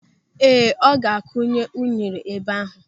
Ee, ọ ga a kunye unere ebe ahụ.